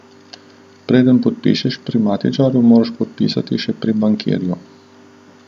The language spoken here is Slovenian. Preden podpišeš pri matičarju, moraš podpisati še pri bankirju.